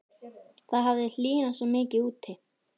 Það hafði hlýnað svo mikið úti.